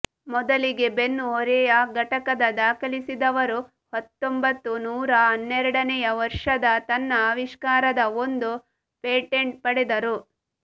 ಮೊದಲಿಗೆ ಬೆನ್ನುಹೊರೆಯ ಘಟಕದ ದಾಖಲಿಸಿದವರು ಹತ್ತೊಂಬತ್ತು ನೂರ ಹನ್ನೆರಡನೆಯ ವರ್ಷದ ತನ್ನ ಆವಿಷ್ಕಾರದ ಒಂದು ಪೇಟೆಂಟ್ ಪಡೆದರು